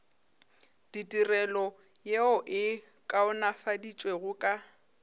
ditirelo yeo e kaonafaditšwego ka